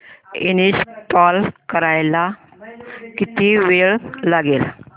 install करायला किती वेळ लागेल